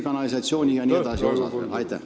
Aitäh!